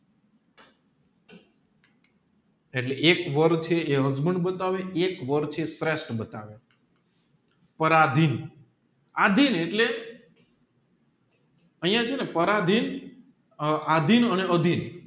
એટલે એક વાર છે એ husband બતાવવે એક વાર છે એ શ્રેષ્ઠ બતાવે પરાધીન આધીન એટલે અહીંયા ચેને પરાધીન આ આધીન